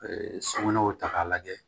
sokɔnɔw ta k'a lajɛ